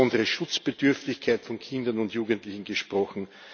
Wir haben über besondere Schutzbedürftigkeit von Kindern und Jugendlichen gesprochen.